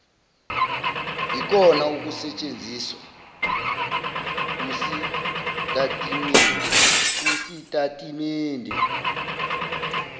yikona okusetshenziswa kusitatimende